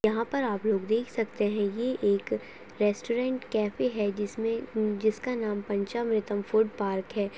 यहाँ पर आप लोग देख सकते है ये एक रेस्टोरेंट कैफै है जिसका नाम पंचामृतम फूडपार्क है।